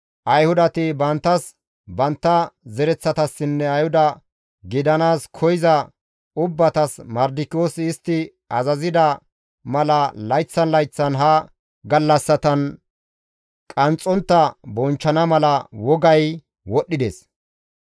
Ayhudati banttas, bantta zereththatassinne Ayhuda gidanaas koyza ubbatas, Mardikiyoosi istti azazida mala layththan layththan ha gallassatan qanxxontta bonchchana mala wogay wodhdhides.